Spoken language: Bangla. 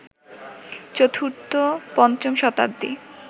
চতুর্থ পঞ্চম শতাব্দী